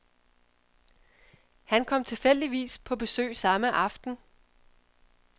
Han kom tilfældigvis på besøg samme aften.